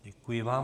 Děkuji vám.